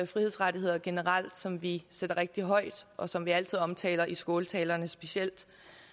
frihedsrettigheder generelt som vi sætter rigtig højt og som vi altid omtaler i skåltaler specielt